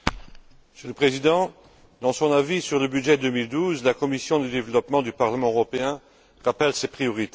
Monsieur le Président, dans son avis sur le budget 2012, la commission du développement du Parlement européen rappelle ses priorités.